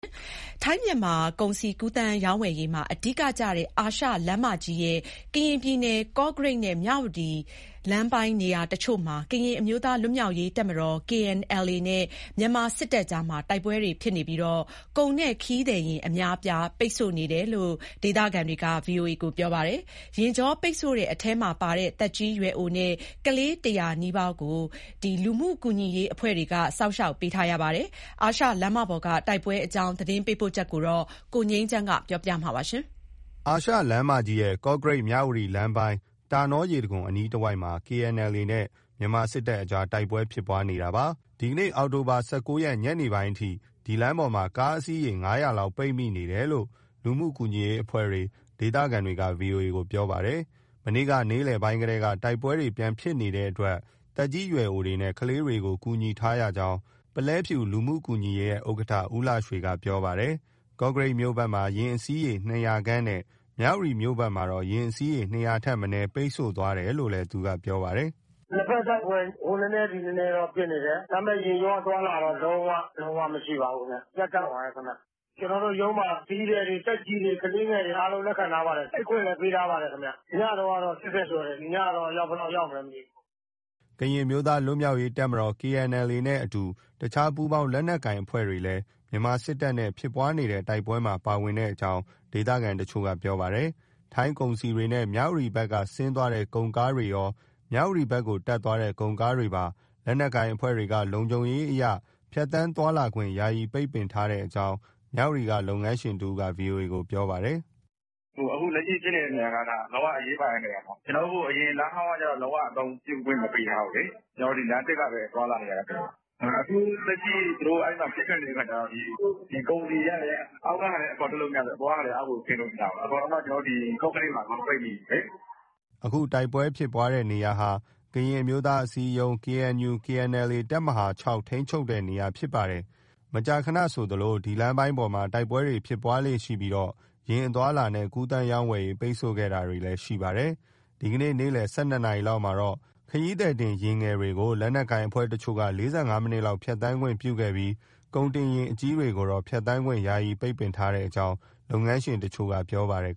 ထိုင်း- မြန်မာ ကုန်စည်ကူးသန်းရောင်းဝယ်ရေးမှာ အဓိကကျတဲ့ အာရှလမ်းမကြီးရဲ့ ကရင်ပြည်နယ် ကော့ကရိတ်နဲ့ မြဝတီလမ်းပိုင်း နေရာတချို့မှာ ကရင်အမျိုးသား လွတ်မြောက်ရေးတပ်မတော် KNLA နဲ့ မြန်မာစစ်တပ်ကြား တိုက်ပွဲတွေဖြစ်နေပြီး ကုန်နဲ့ခရီးသည်ယာဉ် အများအပြား ပိတ်ဆို့နေတယ်လို့ ဒေသခံတွေက ပြောပါတယ်။ ယာဉ်ကြောပိတ်ဆို့တဲ့အထဲမှာပါတဲ့ သက်ကြီးရွယ်အိုနဲ့ ကလေး ၁၀၀ နီးပါးကို လူမှုကူညီရေး အဖွဲ့တွေက စောင့်ရှောက်ပေးထားရပါတယ်။ အာရှလမ်းမပေါ်က တိုက်ပွဲအကြောင်း သတင်းပေးပို့ချက်ကို ကိုငြိမ်းချမ်းက တင်ပြပေးထားပါတယ်။။ အာရှလမ်းမကြီးရဲ့ ကော့ကရိတ်- မြဝတီ လမ်းပိုင်း၊ တောနောရေတံခွန် အနီးတဝိုက်မှာ KNLA နဲ့ မြန်မာစစ်တပ်တွေ တိုက်ပွဲဖြစ်ပွားနေတာပါ။ ဒီနေ့ အောက်တိုဘာ ၁၉ ရက် ညနေပိုင်းအထိ ဒီလမ်းပေါ်မှာ ကားအစီးရေ ၅၀၀ လောက် ပိတ်ဆို့နေတယ်လို့ လူမှုကူညီရေးအဖွဲ့တွေ၊ ဒေသခံတွေက ဗွီအိုအေကို ပြောပါတယ်။ မနေ့က နေ့လယ်ပိုင်းကတည်းက တိုက်ပွဲပြန်ဖြစ်နေတဲ့အတွက် သက်ကြီးရွယ်အိုနဲ့ ကလေးတွေကို ကူညီထားရကြောင်း ပုလဲဖြူလူမှုကူညီရေးရဲ့ ဥက္ကဋ္ဌ ဦးလှရွှေက ပြောပါတယ်။ ကော့ကရိတ်မြို့ဘက်မှာ ယာဉ်အစီးရေ ၂၀၀ ခန့်နဲ့ မြဝတီမြို့ဘက် မှာတော့ ယာဉ်အစီးရေ ၂၀၀ ထက်မနည်း ပိတ်ဆို့သွားတယ်လို့လည်း သူကပြောပါတယ်။ " နှစ်ဘက်တိုက်ပွဲ ဟိုနည်းနည်း သည်နည်းနည်းတော့ ဖြစ်နေတယ်။ ဒါပေမယ့် ယာဉ်ကြော အသွားအလာတော့ လုံးဝလုံးဝ မရှိပါဘူးခင်ဗျ။ ရပ်တန့်သွားတယ် ခင်ဗျ။ ကျနော်တို့ရုံးမှာ ခရီးသည်တွေ၊ သက်ကြီးတွေ၊ ကလေးငယ်တွေ အားလုံး လက်ခံထားပါတယ်။ အိပ်ခွင့်လည်း ပေးထားပါတယ်။ ညတုန်းကတော့ ၈၀ ကျော် တယ်။ ဒီညတော့ အယောက်ဘယ်လောက် ရောက်မလဲတော့ မသိဘူး။" ကရင်အမျိုးသား လွတ်မြောက်ရေး တပ်မတော် KNLA နဲ့အတူ တခြားပူးပေါင်း လက်နက်ကိုင် အဖွဲ့တွေလည်း မြန်မာစစ်တပ်နဲ့ ဖြစ်ပွားတဲ့ တိုက်ပွဲမှာပါဝင်ကြောင်း ဒေသခံတချို့က ပြောပါတယ်။ ထိုင်းကုန်စည်တွေနဲ့ မြဝတီဘက်က ဆင်းသွားတဲ့ကုန်ကားတွေရော မြဝတီဘက်ကို တက်သွားတဲ့ ကုန်ကားတွေပါ လက်နက်ကိုင်အဖွဲ့တွေက လုံခြုံရေးအရ ဖြတ်သန်းသွားလာခွင့် ယာယီပိတ်ထားကြောင်း မြဝတီက လုပ်ငန်းရှင်တဦးက ဗွီအိုအေကို ပြောပါတယ်။ " အခုလက်ရှိ ဖြစ်နေတဲ့နေရာက လုံးဝ အရေးပါတဲ့နေရာ၊ အရင်လမ်းဟောင်းက လုံးဝအသုံးပြုခွင့် မပေးထားဘူးလေ။ ကျနော်တို့ ဒီလမ်းသစ်ကပဲ သွားလာနေရတာခင်ဗျ။ အခုလက်ရှိ သူတို့ အဲဒီမှာ ပစ်ခတ်နေတဲ့အခါကျတော့ ကုန်စည်တွေက အောက်ကဟာလည်း အပေါ်တက်လို့မရသလို အပေါ်ကလည်း အောက်ကိုဆင်းလို့မရဘူး။ အကုန်လုံး ကော့ကရိတ်မှာ ပိတ်မိနေတာလေ။" အခုတိုက်ပွဲဖြစ်တဲ့နေရာဟာ ကရင်အမျိုးသားအစည်းအရုံး KNU/KNLA တပ်မဟာ ထိန်းချုပ်ထားတဲ့ နေရာ ဖြစ်ပါတယ်။ မကြာခဏဆိုသလို ဒီလမ်းပိုင်းပေါ်မှာ တိုက်ပွဲဖြစ်ပွားလေ့ရှိပြီး ယာဉ်အသွားအလာနဲ့ ကူးသန်းရောင်းဝယ်ရေး ပိတ်ဆို့ခဲ့တာလည်း ရှိပါတယ်။ ဒီနေ့ နေ့လည် ၁၂ နာရီလောက်မှာ ခရီးသည်တင် ယာဉ်ငယ်တွေကို လက်နက်ကိုင်အဖွဲ့တချို့က ၄၅ မိနစ်လောက် ဖြတ်သန်းခွင့်ပြုခဲ့ပြီး ကုန်တင်ယာဉ် အကြီးတွေကိုတော့ ဖြတ်သန်းခွင့် ယာယီပိတ်ထားကြောင်း လုပ်ငန်းရှင်တချို့က ပြောပါတယ်